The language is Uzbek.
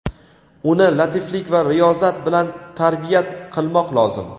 Uni latiflik va riyozat bilan tarbiyat qilmoq lozim.